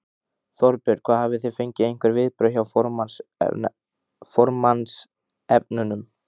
Þorbjörn: Hafið þið fengið einhver viðbrögð hjá formannsefnunum?